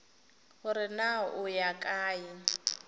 gore na o ya kae